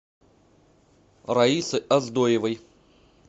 раисы оздоевой